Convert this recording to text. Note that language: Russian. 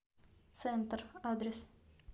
центр адрес